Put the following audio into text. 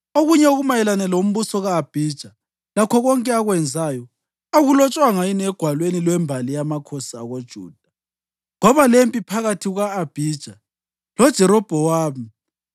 Okunye okumayelana lombuso ka-Abhija, lakho konke akwenzayo, akulotshwanga yini egwalweni lwembali yamakhosi akoJuda? Kwaba lempi phakathi kuka-Abhija loJerobhowamu.